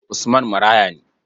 Usman maraya ne.